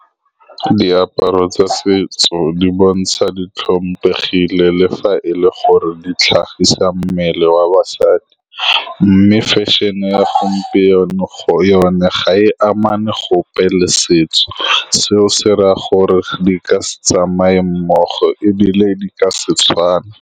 Diaparo tsa setso di bontsha, di tlhomphegile le fa e le gore di tlhagisa mmele wa basadi, mme fashion-e ya gompieno, yone ga e amane gope le setso seo. Se raya gore di ka se tsamaye mmogo, ebile di ka se tswane.